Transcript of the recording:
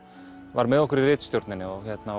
var með okkur í ritstjórninni og